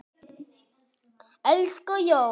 Elsku Jón.